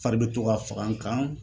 Fari be to ka faga n kan.